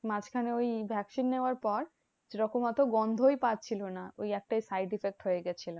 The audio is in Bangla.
মাঝখানে ওই vaccine নেওয়ার পর সেরকম অত গন্ধই পাচ্ছিলো না। ওই একটাই side effect হয়েগেছিলো।